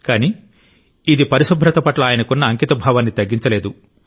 కానీ ఇది పరిశుభ్రత పట్ల ఆయనకున్న అంకితభావాన్ని తగ్గించలేదు